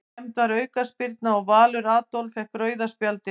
Dæmd var aukaspyrna og Valur Adolf fékk rauða spjaldið.